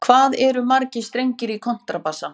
Hvað eru margir strengir í kontrabassa?